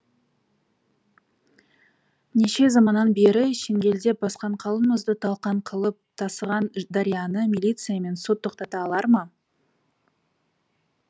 неше заманнан бері шеңгелдеп басқан қалың мұзды талқан қылып тасыған дарияны милиция мен сот тоқтата алар ма